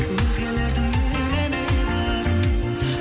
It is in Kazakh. өзгелердің елеме барын